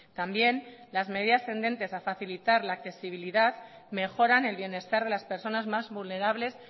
también las medidas tendentes a facilitar la accesibilidad mejoran el bienestar de las personas más vulnerables